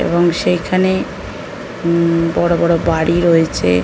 এবং সেইখানে উম - বড়ো বড়ো বাড়ি রয়েছে।